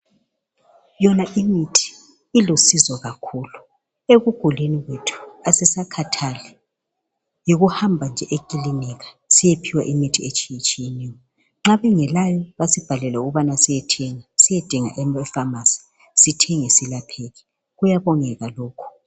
Yona imithi ilusizo kakhulu ebugulini bethu asisakhathali yikuhamba nje ekilinika siyephiwa imithi etshiyetshiyeneyo. Nxa bengelayo basibhalele ukubana siyethenga siyedinga eFamasi sithenge siyelapheke kuyabongeka lokhu.